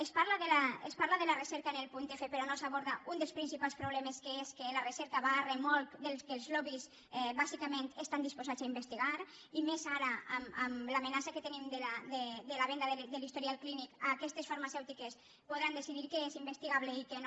es parla de la recerca en el punt f però no se n’aborda un dels principals problemes que és que la recerca va a remolc del que els lobbys bàsicament estan dispo·sats a investigar i més ara amb l’amenaça que tenim de la venda de l’historial clínic que aquestes farma·cèutiques podran decidir què és investigable i què no